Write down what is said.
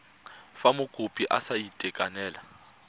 fa mokopi a sa itekanela